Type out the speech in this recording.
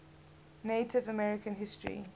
native american history